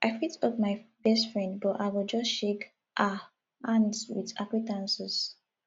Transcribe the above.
um i fit hug my best friend but i go just shake um hands with acquaintances